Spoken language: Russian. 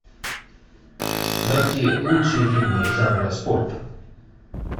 найти лучшие фильмы жанра спорт